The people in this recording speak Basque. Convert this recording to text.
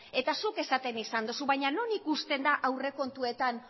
eta zuk esaten izan duzu baina non ikusten da aurrekontuetan